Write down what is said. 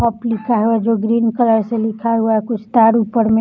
hop लिखा है और जो ग्रीन कलर से लिखा हुआ है कुछ स्टार ऊपर में--